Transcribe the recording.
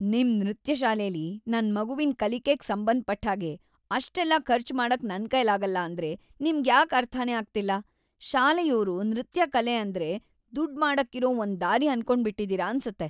ನಿಮ್ ನೃತ್ಯ ಶಾಲೆಲಿ ನನ್ ಮಗುವಿನ್ ಕಲಿಕೆಗ್‌ ಸಂಬಂಧಪಟ್ಟ್‌ಹಾಗೆ ಅಷ್ಟೆಲ್ಲ ಖರ್ಚ್ ಮಾಡಕ್ ನನ್ಕೈಲಾಗಲ್ಲ ಅಂದ್ರೆ ನಿಮ್ಗ್‌ಯಾಕ್ ಅರ್ಥನೇ ಆಗ್ತಿಲ್ಲ! ಶಾಲೆಯೋರು ನೃತ್ಯ ಕಲೆ ಅಂದ್ರೆ ದುಡ್ಡ್‌ ಮಾಡಕ್ಕಿರೋ ಒಂದ್‌ ದಾರಿ ಅನ್ಕೊಂಡ್ಬಿಟಿದೀರ ಅನ್ಸತ್ತೆ.